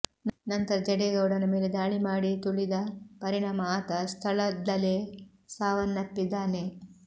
ನಂತರ ಜಡೇಗೌಡನ ಮೇಲೆ ದಾಳಿ ಮಾಡಿ ತುಳಿದ ಪರಿಣಾಮ ಆತ ಸ್ಥಳದ್ಲಲೇ ಸಾವನ್ನಪ್ಪಿದ್ದಾನೆ